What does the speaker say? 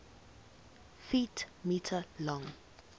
ft m long